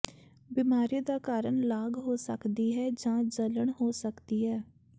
ਬਿਮਾਰੀ ਦਾ ਕਾਰਨ ਲਾਗ ਹੋ ਸਕਦੀ ਹੈ ਜਾਂ ਜਲਣ ਹੋ ਸਕਦੀ ਹੈ